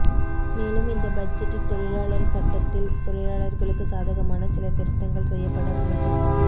மேலும் இந்த பட்ஜெட்டில் தொழிலாளர் சட்டத்தில் தொழிலாளர்களுக்கு சாதகமான சில திருத்தகங்கள் செய்யப்பட உள்ளது